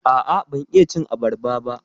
A'a, ban iya cin abarba ba.